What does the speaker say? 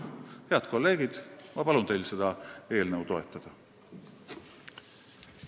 Head kolleegid, ma palun teil seda eelnõu toetada!